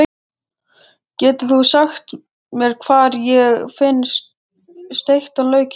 Getur þú sagt mér hvar ég finn steiktan lauk hér?